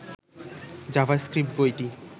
JavaScript বইটি